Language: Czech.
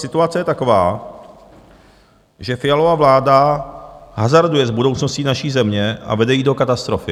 Situace je taková, že Fialova vláda hazarduje s budoucností naší země a vede ji do katastrofy.